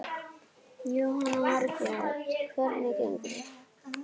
Jóhanna Margrét: Hvernig gengur?